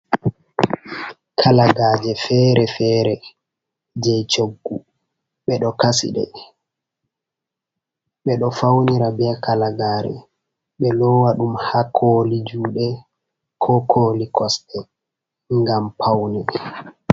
Kalagaaje fere-fere jey coggu, ɓe ɗo kasi ɗe, ɓe ɗo fawnira be kalagaare, ɓe loowa ɗum haa kooli juuɗe ko kooli kosɗe ngam pawne.